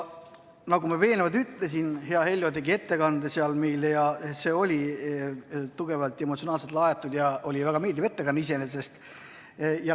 Nagu ma eelnevalt ütlesin, hea Heljo tegi meile ettekande ja see oli tugevalt emotsionaalselt laetud ja iseenesest väga meeldiv ettekanne.